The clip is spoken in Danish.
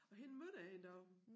Og hende mødte jeg en dag